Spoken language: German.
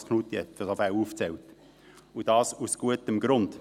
Thomas Knutti hat solche Fälle aufgezählt, und dies aus gutem Grund: